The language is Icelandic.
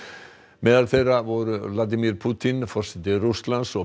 meðal þeirra voru Vladimir Pútín forseti Rússlands og